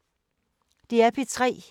DR P3